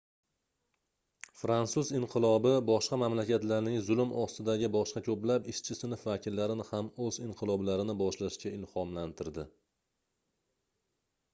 fransuz inqilobi boshqa mamlakatlarning zulm ostidagi boshqa koʻplab ishchi sinf vakillarini ham oʻz inqiloblarini boshlashga ilhomlantirdi